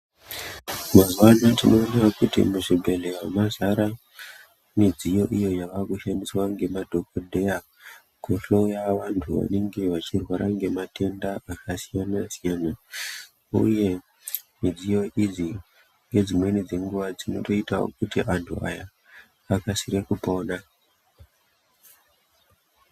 Mazuwa anaa tinoonawo kuti muzvibhedhlera mazara midziyo iyo yavakushandiswa ngemadhokodheya kuhloya vantu vanenge vachirwara ngematenda akasiyana siyana uye midziyo idzi ngedzimweni dzenguwa dzinotoitawo kuti antu aya akasire kupona.